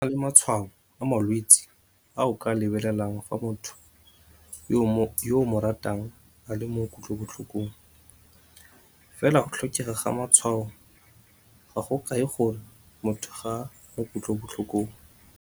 Go na le matshwao a le mantsi a o ka a lebelelang fa motho yo o mo ratang a le mo kutlobotlhokong, fela go tlhokega ga matshwao ga go kae gore motho ga a mo kutlobotlhokong.